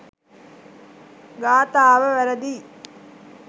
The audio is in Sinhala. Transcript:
ගාථාව වැරැදියි.